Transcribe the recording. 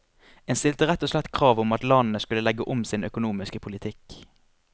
En stilte rett og slett krav om at landene skulle legge om sin økonomiske politikk.